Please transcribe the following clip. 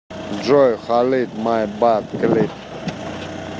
джой халид май бад клип